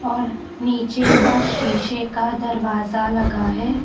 और नीचे का शीशे का दरवाजा लगा है।